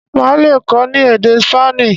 Má lè kọ ni èdè Spani.